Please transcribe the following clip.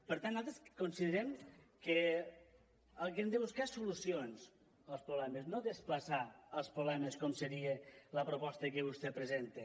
per tant nosaltres considerem que el que hem de buscar és solucions als problemes no desplaçar els problemes com seria la proposta que vostè presenta